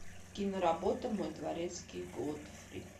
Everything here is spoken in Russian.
киноработа мой дворецкий годфри